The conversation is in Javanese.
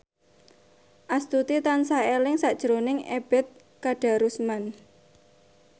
Astuti tansah eling sakjroning Ebet Kadarusman